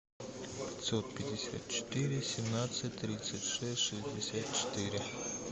пятьсот пятьдесят четыре семнадцать тридцать шесть шестьдесят четыре